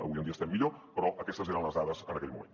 avui en dia estem millor però aquestes eren les dades en aquell moment